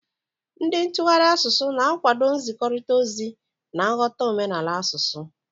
Ndị ntụgharị asụsụ na-akwado nzikọrịta ozi na nghọta omenala asụsụ.